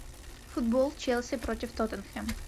футбол челси против тоттенхэм